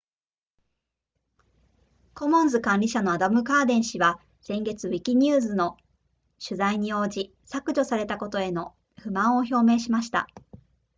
コモンズ管理者のアダムカーデン氏は先月ウィキニューズの取材に応じ削除されたことへの不満を表明しました